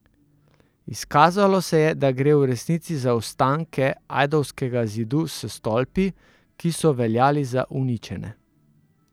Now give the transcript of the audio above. Izkazalo se je, da gre v resnici za ostanke Ajdovskega zidu s stolpi, ki so veljali za uničene.